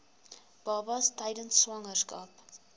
babas tydens swangerskap